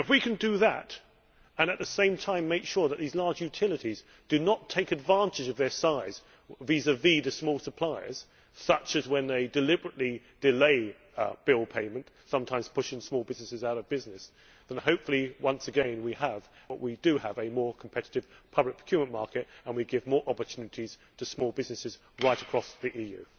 If we can do that, and at the same time make sure that these large utilities do not take advantage of their size vis vis small suppliers such as when they deliberately delay bill payment, sometimes pushing small businesses out of business then, hopefully, once again we will have a more competitive public procurement market and we will give more opportunities to small businesses right across the EU.